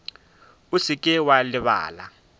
o se ke wa lebala